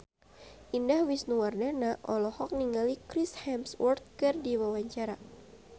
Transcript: Indah Wisnuwardana olohok ningali Chris Hemsworth keur diwawancara